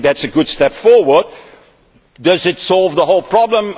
I think that is a step forward, but does it solve the whole problem?